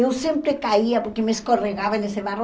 Eu sempre caía porque me escorregava nesse barro.